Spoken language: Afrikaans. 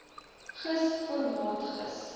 gis formaat gis